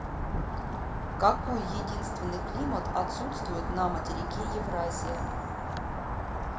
какой единственный климат отсутствует на материке евразия